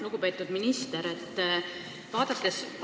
Lugupeetud minister!